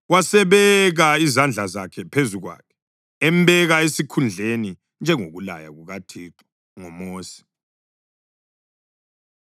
Wasebeka izandla zakhe phezu kwakhe embeka esikhundleni, njengokulaya kukaThixo ngoMosi.